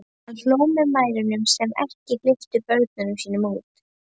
Hann hló að mæðrunum sem ekki hleyptu börnunum sínum út.